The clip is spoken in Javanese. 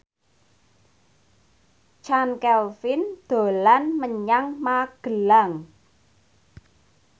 Chand Kelvin dolan menyang Magelang